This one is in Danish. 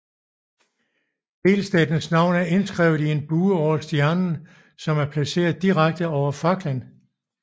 Delstatens navn er indskrevet i en bue over stjernen som er placeret direkte over faklen